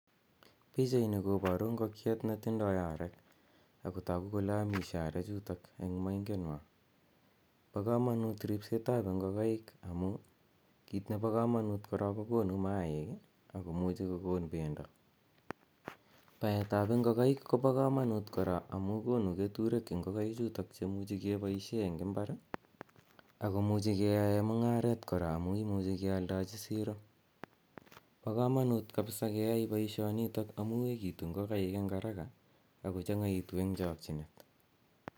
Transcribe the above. Pichaini koparu ngokiet ne tindai arek ako tagu kole amishe arechutok eng' moingetnwa. Pa kamanut ripset ap ngokaik amu kit nepo kamanut ko konu maaik i ako muchi kokon pendo. Pawt ap ngokaik ko pa kamanut kora amu konu keturek ngokaichuitok che imuchi ke poishe eng' mbar ako muchi keyae mung'aret kora amu imuchi kealdachi siro. Pa kamanut kapsa keyae poishonitok amu etu ngokaik eng' arak ako changa'itu eng' chakchinet.